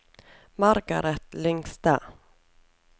Margareth Lyngstad